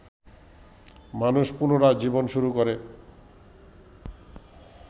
মানুষ পুনরায় জীবন শুরু করে